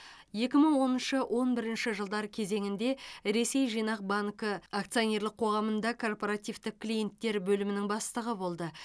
екі мың оныншы он бірінші жылдар кезеңінде ресей жинақ банкі акционерлік қоғамында корпоративтік клиенттер бөлімінің бастығы болды